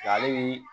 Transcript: Ale bi